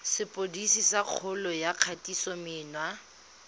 sepodisi sa kgololo ya kgatisomenwa